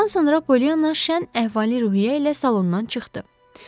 Bundan sonra Pollyanna şən əhval-ruhiyyə ilə salondan çıxdı.